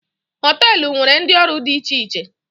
Họteelu nwere ndị ọrụ dị iche iche